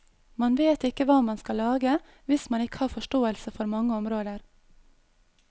Man vet ikke hva man skal lage hvis man ikke har forståelse for mange områder.